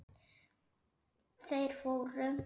Þeir fóru.